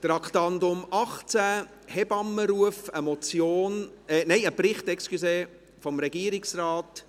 – Traktandum 18, «HebammenRuf», ein Bericht des Regierungsrates.